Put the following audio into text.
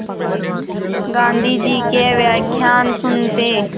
गाँधी जी के व्याख्यान सुनते